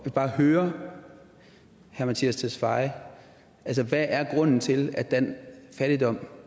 bare høre herre mattias tesfaye hvad er grunden til at den fattigdom